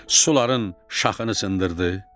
Suların şaxını sındırdı.